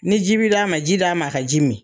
Ni ji bi d'a ma ji di a ma a ka ji min.